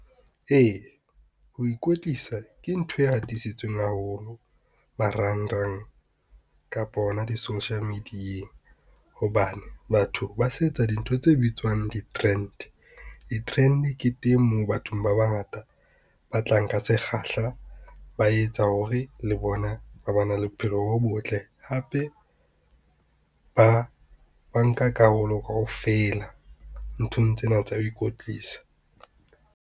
Ee, ho ikwetlisa ke ntho e hatisitsweng haholo marangrang, kapa hona di-social media-eng hobane batho ba sa etsa dintho tse bitswang di-trend. Di-trend ke teng moo bathong ba bangata ba tlang ka sekgahla, ba etsa hore le bona ba ba na le bophelo bo botle hape, ba nka karolo kaofela nthong tsena tsa ho ikwetlisa.